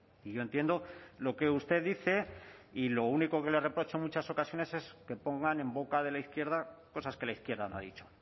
y yo entiendo lo que usted dice y lo único que le reprocho en muchas ocasiones es que pongan en boca de la izquierda cosas que la izquierda no ha dicho